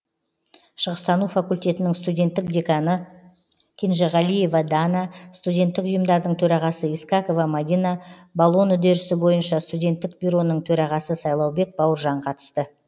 шығыстану факультетінің студенттік деканы кенжеғалиева дана студенттік ұйымдардың төрағасы искакова мадина болон үдерісі бойынша студенттік бюроның төрағасы сайлаубек бауыржан қатысты